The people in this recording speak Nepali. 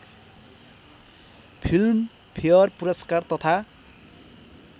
फिल्मफेयर पुरस्कार तथा